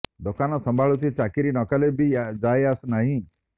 ଦୋକାନ ସମ୍ଭାଳୁଛି ଚାକିରୀ ନ କଲେ ବି ଯାଏ ଆସେ ନାହିଁ